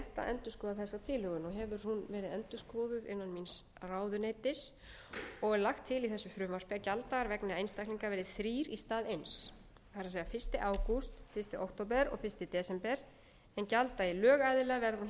hún verið endurskoðuð innan míns ráðuneytis og er lagt til í þessu frumvarpi að gjalddagar vegna einstaklinga verði þrír í stað eins það er fyrsta ágúst fyrsta október og fyrsta desember en gjalddagi lögaðila verði á hinn